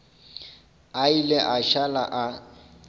a ile a šala a